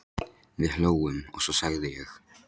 Við hlógum, og svo sagði ég